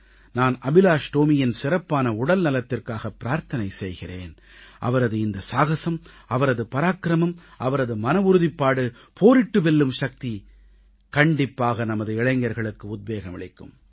நான் அபிலாஷ் டோமியின் சிறப்பான உடல்நலத்திற்காக பிரார்த்தனை செய்கிறேன் அவரது இந்த சாகஸம் அவரது பராக்கிரமம் அவரது மனவுறுதிப்பாடு போரிட்டு வெல்லும் சக்தி கண்டிப்பாக நமது இளைஞர்களுக்கு உத்வேகம் அளிக்கும்